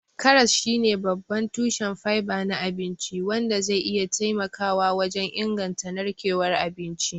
Karas shine babban tushen fiber na abinci, wanda zai iya taimakawa wajen inganta narkewar abinci.